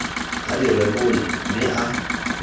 a di rebole mme a